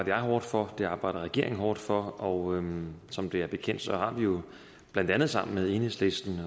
jeg hårdt for det arbejder regeringen hårdt for og som det er bekendt har vi jo blandt andet sammen med enhedslisten